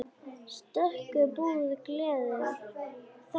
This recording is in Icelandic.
Stöku búð gleður þó augað.